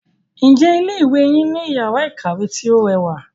Ǹjẹ́ ilé ìwé yín ní iyàrá ìkàwé tí o rẹwà?